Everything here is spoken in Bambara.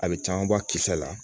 A bɛ caman bɔ a kisɛ la